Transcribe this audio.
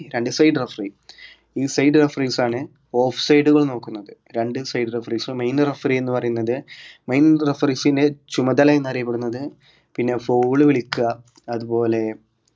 രണ്ട് side referee ഈ side referees ആണ് off side കൾ നോക്കുന്നത് രണ്ട് side referees ഉം main referee എന്ന് പറയുന്നത് main referee ക്ക് ചുമതല എന്നറിയപ്പെടുന്നത് പിന്ന foul വിളിക്കുക അതുപോലെ